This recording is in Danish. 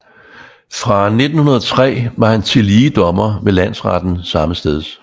Fra 1903 var han tillige dommer ved landretten sammesteds